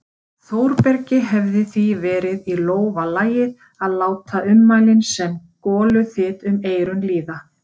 Þórbergi hefði því verið í lófa lagið að láta ummælin sem goluþyt um eyrun líða.